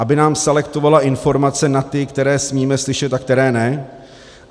Aby nám selektovala informace na ty, které smíme slyšet a které ne?